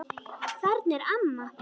Þarna er amma!